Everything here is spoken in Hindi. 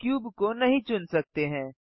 क्यूब को नहीं चुन सकते हैं